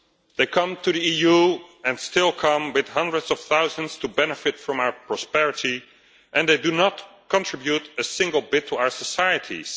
They come to the EU and still come in hundreds of thousands to benefit from our prosperity, and they do not contribute a single bit to our societies.